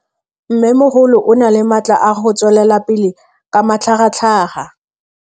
Mmêmogolo o na le matla a go tswelela pele ka matlhagatlhaga.